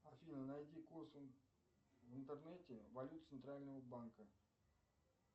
афина найди курс в интернете валют центрального банка